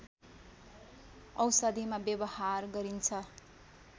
औषधिमा व्यवहार गरिन्छ